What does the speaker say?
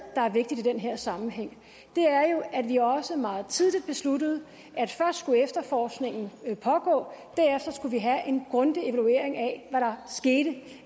der er vigtigt i den her sammenhæng er jo at vi også meget tidligt besluttede at først skulle efterforskningen pågå og derefter skulle vi have en grundig evaluering af hvad der skete